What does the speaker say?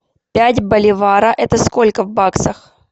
пять боливара это сколько в баксах